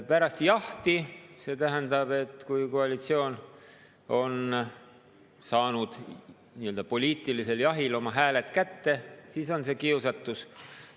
Pärast jahti – see tähendab, et kui koalitsioon on saanud nii-öelda poliitilisel jahil oma hääled kätte, siis on see kiusatus.